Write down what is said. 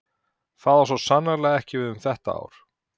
Það á svo sannarlega ekki við um þetta ár.